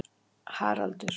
Haraldur